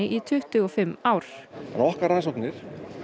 í tuttugu og fimm ár okkar rannsóknir